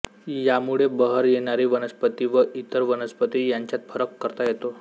यामुळे बहर येणारी वनस्पती व इतर वनस्पती यांच्यात फरक करता येतो